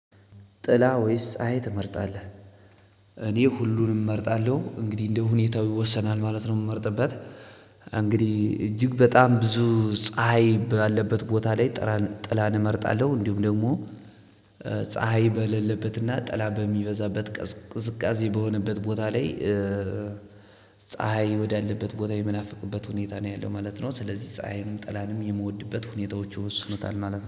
ጥላ ወይስ ፀሀይ ትመርጣለህ? እኔ ሁሉንም እመርጣለሁ እንግዲህ እንደሁኔታው ይወሰናል ማለት ነው የምመርጥበት። እንግዲህ እጅግ በጣም ብዙ ፀሀይ ባለበት ቦታ ላይ ጥላን እመርጣለሁ እንዲሁም ደግሞ። ፀሀይ በሌለበትና ጥላ በሚበዛበት ቅዝቃዜ በሆነበት ቦታ ላይ ፀሀይ ወዳለበት ቦታ የመናፈቅበት ሁኔታ ነው ያለው ማለት ነው። ስለዚህ ፀሀይም ጠላንም የምወድበት ሁኔታዎች ይወስኑታል ማለት ነው